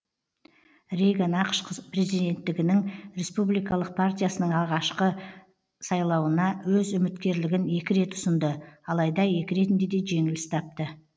рейган ақш президенттігінің республикалық партиясының ағашқы сайлауына өз үміткерлігін екі рет ұсынды алайда екі ретінде де жеңіліс тапты